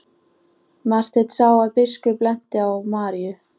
Marteinn sá að biskup benti á Maríu.